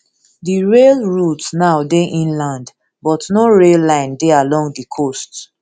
di rail routes now dey inland but no rail line dey along di coast